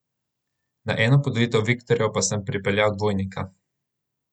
Na eno podelitev viktorjev pa sem pripeljal dvojnika.